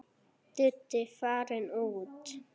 Diddi farinn út.